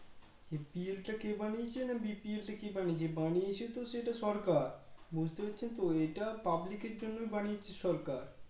APL টা কে বানিয়েছে না BPL টা কে বানিয়েছে বানিয়েছে তো এটা সরকার বুজতে পেরেছো তো এটা public এর জন্য বানিয়েছে সরকার